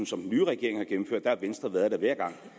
som den nye regering har gennemført har venstre været der hver gang